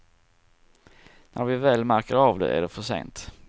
När vi väl märker av det är det för sent.